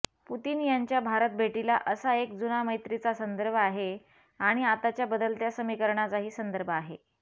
Putin यांच्या भारतभेटीला असा एक जुना मैत्रीचा संदर्भ आहे आणि आताचा बदलत्या समीकरणाचाही संदर्भ आहे